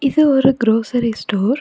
இது ஒரு grocery store .